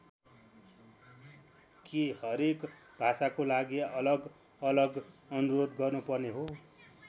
के हरेक भाषाको लागि अलग अलग अनुरोध गर्नुपर्ने हो?